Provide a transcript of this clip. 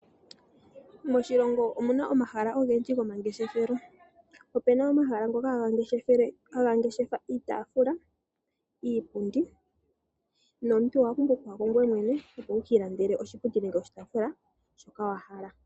Moshilongo omuna omahala ogendji gomangeshefelo. Opena omahala ngoka haga ngeshefa iitafula, iipundi, nomuntu owa pumbwa oku yako ngoye mwene opo wu ka ilandele oshipundi nenge oshitafula shoka wa hala.